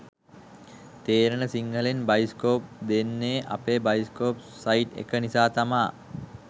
තේරෙන සිංහලෙන් බයිස්කෝප් දෙන්නේ අපේ බයිස්කෝප් සයිට් එක නිසා තමා